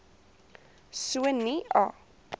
so nie a